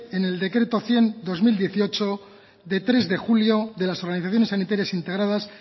en el decreto cien barra dos mil dieciocho de tres de julio de las organizaciones sanitarias integradas